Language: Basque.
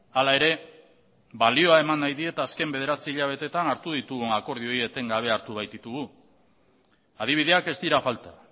hala ere balioa eman nahi diet azken bederatzi hilabeteetan hartu ditugun akordioei eten gabe hartu baititugu adibideak ez dira falta